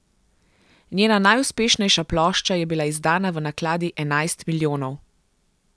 Njena najuspešnejša plošča je bila izdana v nakladi enajst milijonov.